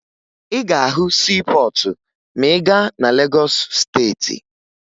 Ị ga-ahụ siipọọtụ ma ị gaa na Legọọsụ Steeti